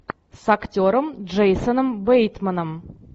с актером джейсоном бейтманом